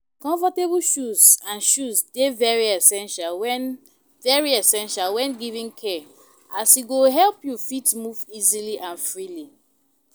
Comfortable shoes and shoes de very essential when very essential when giving care as e go help you fit move easily and freely